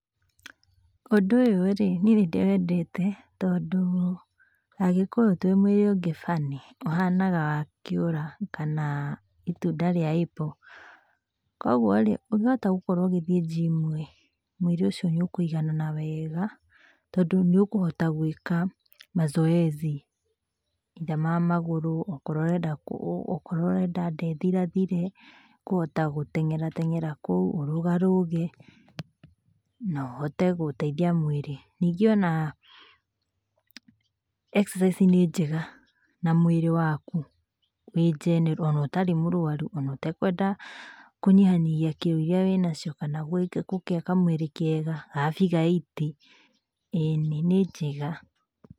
Ũndũ ũyũ rĩ nĩĩ nĩ ndĩwendete, tondũ Agĩkũyũ twĩ mwĩrĩ ũngĩ funny ũhanaga wa kĩũra kana ĩtunda rĩa apple. Koguo rĩ ũngĩhota gũkorwo ũgĩthĩĩ njimũ-ĩ mwĩrĩ ũcio nĩũkũĩganana wega, tondũ nĩ ũkũhota gwĩka mazoezi either ma magũrũ, ũkorwo ũrenda nda ĩthirathire nĩ ũkũhota gũteng'era teng'era kũu, ũrũgarũge na ũhote gũteithia mwĩrĩ. Ningĩ ona exercise nĩ njega na mwĩrĩ waku wĩ general ona ũtarĩ mũrwaru ona ũtekwenda kunyĩhanyĩhĩa kilo ĩrĩa wĩnacio kana gũkĩgĩa kamwĩrĩ kega ga figure eight, ĩnĩ nĩ njega.